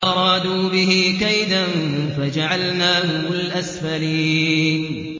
فَأَرَادُوا بِهِ كَيْدًا فَجَعَلْنَاهُمُ الْأَسْفَلِينَ